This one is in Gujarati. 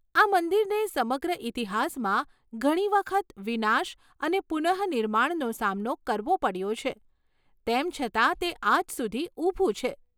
આ મંદિરને સમગ્ર ઇતિહાસમાં ઘણી વખત વિનાશ અને પુનઃનિર્માણનો સામનો કરવો પડ્યો છે, તેમ છતાં તે આજ સુધી ઊભું છે!